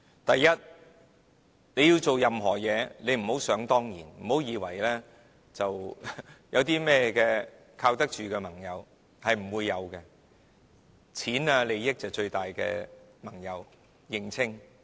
第一，它做任何事，不要想當然，不要以為有靠得住的盟友，是不會有的，金錢和利益就是最大的盟友，請認清。